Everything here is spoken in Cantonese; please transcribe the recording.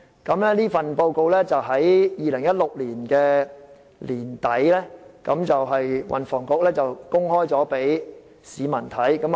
運輸及房屋局在2016年年底公開研究報告供市民查閱。